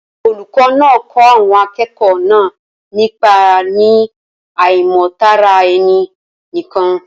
Olùkọ́ náà kọ́ àwọn akẹ́kọ̀ọ́ náà nípa ní àìnímọ̀ Tara-ẹni-nìkan